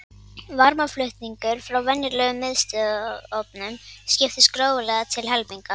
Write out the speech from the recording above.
Varmaflutningur frá venjulegum miðstöðvarofnum skiptist gróflega til helminga.